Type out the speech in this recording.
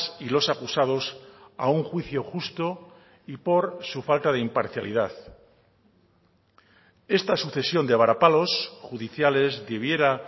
y los acusados a un juicio justo y por su falta de imparcialidad esta sucesión de varapalos judiciales debiera